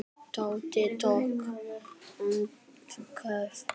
Tóti tók andköf.